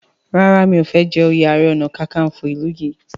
ràrá o mi'o fè jé oyè aré ọnà kankanfo ilú yí.